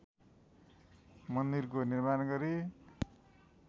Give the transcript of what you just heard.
मन्दिरको निर्माण गरे